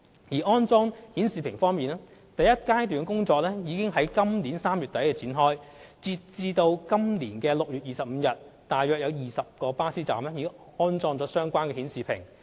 在安裝顯示屏方面，第一階段的安裝工作已於今年3月底展開，截至今年6月25日，約20個巴士站已安裝相關顯示屏。